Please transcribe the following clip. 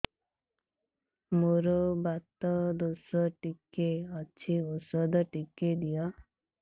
ମୋର୍ ବାତ ଦୋଷ ଟିକେ ଅଛି ଔଷଧ ଟିକେ ଦିଅ